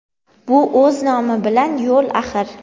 bu o‘z nomi bilan yo‘l axir.